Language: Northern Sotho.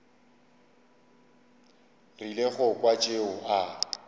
rile go kwa tšeo a